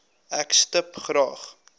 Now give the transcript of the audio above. ek stip graag